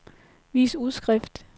vis udskrift